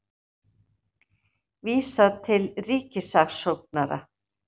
Vísað til ríkissaksóknara